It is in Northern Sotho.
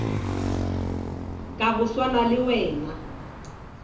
ka go swana le wena